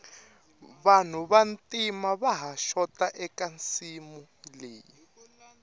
vanhu va ntima vaha xota eka nsimu leyi